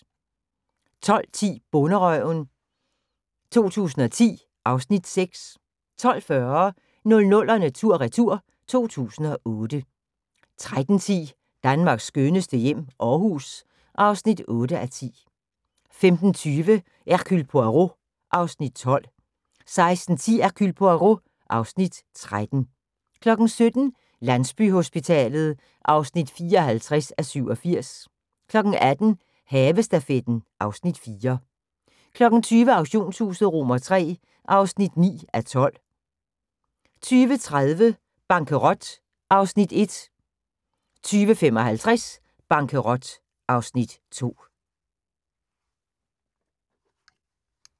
12:10: Bonderøven 2010 (Afs. 6) 12:40: 00'erne tur/retur: 2008 13:10: Danmarks skønneste hjem - Aarhus (8:10) 15:20: Hercule Poirot (Afs. 12) 16:10: Hercule Poirot (Afs. 13) 17:00: Landsbyhospitalet (54:87) 18:00: Havestafetten (Afs. 4) 20:00: Auktionshuset III (9:12) 20:30: Bankerot (Afs. 1) 20:55: Bankerot (Afs. 2)